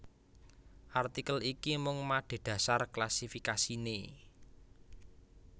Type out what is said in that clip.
Artikel iki mung madhedhasar klasifikasiné